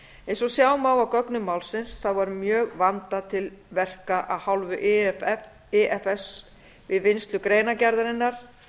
eins og sjá má af gögnum málsins var mjög vandað til verka af hálfu ifs við vinnslu greinargerðarinnar